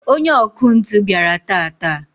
onye ọkụ ntụ bịara taata